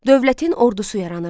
Dövlətin ordusu yaranırdı.